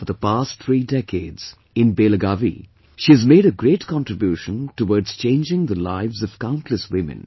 For the past three decades, in Belagavi, she has made a great contribution towards changing the lives of countless women